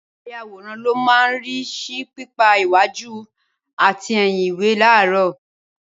Ayàwòrán ló máa ń rí sí pípa iwájú àti ẹ̀yìn ìwé láró.